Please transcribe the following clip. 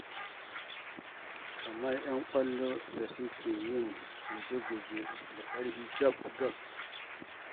Kamar 'yan ƙwallo da suke yin guje-guje da ƙarfi gab-gab.